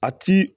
A ti